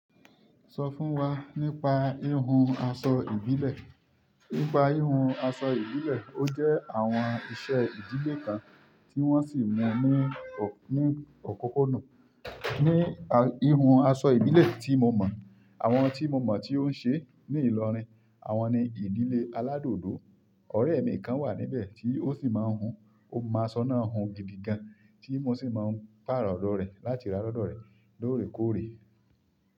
Sọ fún wa nípa híhun aṣọ ìbílẹ̀. Nípa híhun aṣọ ìbílẹ̀, ó jẹ́ àwọn iṣẹ́ ìdílé kan tí wọ́n sì mú ní, ní òkúnkún dùn. Ní híhun aṣọ ìbílẹ̀ tí mo mọ̀, àwọn tí mo mọ̀ tí ó ń ṣe ní ìlọrin, àwọn ni ìdílé aládòdó. Ọ̀rẹ́ mi kan wà níbẹ̀ tí ó sì máa ń hun. Ó máa sọ́nà hun gidi gan, tí mo sì máa ń pààrọ̀ ọ̀dọ̀ rẹ̀ láti rà á lọ́dọ̀ rẹ̀ lóòrèkóòrè.